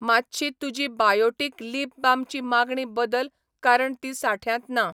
मातशी तुजी बायोटीक लिप बामची मागणी बदल कारण ती साठ्यांत ना